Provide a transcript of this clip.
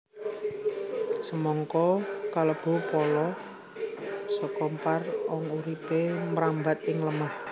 Semangka kalebu pala kesimpar kang uripé mrambat ing lemah